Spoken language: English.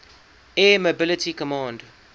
air mobility command